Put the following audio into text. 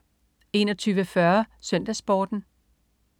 21.40 SøndagsSporten